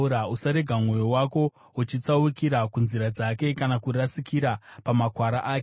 Usarega mwoyo wako uchitsaukira kunzira dzake, kana kurasikira pamakwara ake.